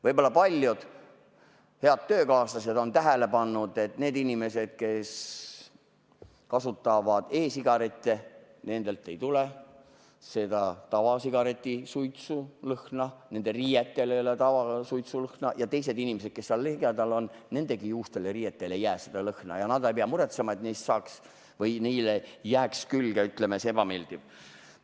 Võib-olla paljud head töökaaslased on tähele pannud, et nendelt inimestelt, kes kasutavad e-sigarette, ei tule seda tavasigareti suitsulõhna, nende riietel ei ole tavasuitsulõhna ja inimestel, kes ligidal on, ei jää juustele ja riietele seda lõhna ja nad ei pea muretsema, et neile jääb külge see ebameeldiv lõhn.